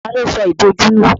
Tani ó sọ ìbòjú nù?